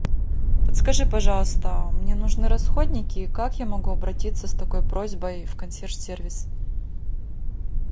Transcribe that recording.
подскажи пожалуйста мне нужны расходники как я могу обратиться с такой просьбой в консьерж сервис